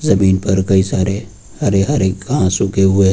पर कई सारे हरे हरे घास उगे हुए हैं।